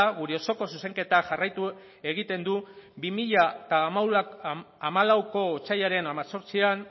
gure osoko zuzenketak jarraitu egiten du bi mila hamalauko otsailaren an